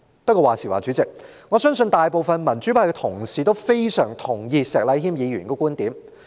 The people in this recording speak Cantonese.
不過，話說回來，主席，我相信大部分民主派同事均非常同意石禮謙議員的觀點。